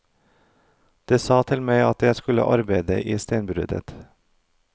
De sa til meg at jeg skulle arbeide i steinbruddet.